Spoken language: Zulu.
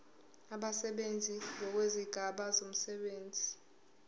abasebenzi ngokwezigaba zomsebenzi